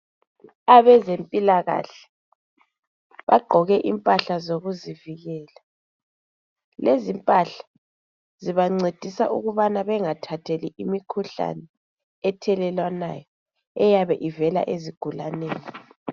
Abezempilakahle bagqoke impahla zokuzivikela. Lezimpahla, zibancedisa ukubana bengathatheli imikhuhlane ethelelwanayo eyabe ivela ezigulaneni.